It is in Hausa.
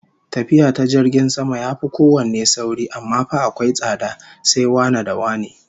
Tafiya ta jirgin sama yafi kowanne sauri, amma fa akwai tsada, sai wane da wane